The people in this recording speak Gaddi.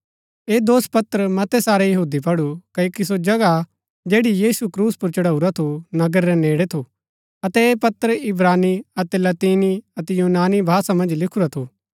ऐह दोषपत्र मतै सारै यहूदिये पढु क्ओकि सो जगहा जैड़ी यीशु क्रूस पुर चढाऊरा थू नगर रै नेड़ै थू अतै ऐह पत्र इब्रानी अतै लतीनी अतै यूनानी भाषा मन्ज लिखुरा थू